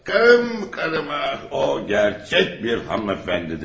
Fakat kahvim kanıma o gerçek bir hanımefendidir.